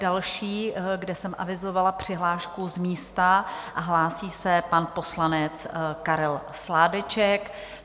Další, kde jsem avizovala přihlášku z místa, a hlásí se pan poslanec Karel Sládeček.